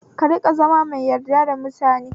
Ka rinƙa zama mai yarda da mutane